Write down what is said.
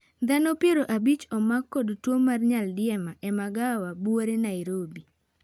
Dhano piero abich omak kod tuoo mar nyaldiema ei magawa buore Narobi